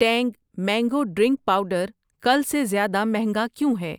ٹینگ mango drink powder کل سے زیادہ مہنگا کیوں ہے